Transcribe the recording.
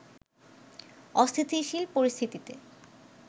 অস্থিতিশীল পরিস্থিতিতে